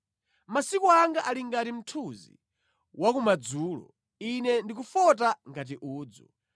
Masiku anga ali ngati mthunzi wa kumadzulo; Ine ndikufota ngati udzu.